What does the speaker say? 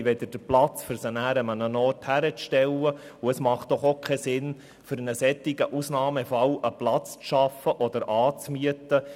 Wir haben keinen Platz, um sie irgendwo hinzustellen, und es macht doch auch keinen Sinn, für einen solchen Ausnahmefall einen Platz zu schaffen oder anzumieten.